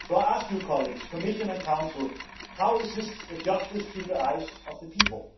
So, I ask you colleagues, Commission and Council how is this justice, in the eyes of the people?